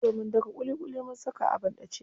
Jiya mun daka ƙuliƙuli mun saka a banɗace.